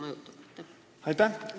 Aitäh!